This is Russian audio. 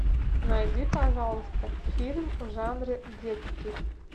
найди пожалуйста фильм в жанре детский